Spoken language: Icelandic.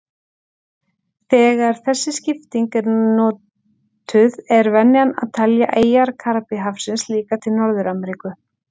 Þegar þessi skipting er notuð er venjan að telja eyjar Karíbahafsins líka til Norður-Ameríku.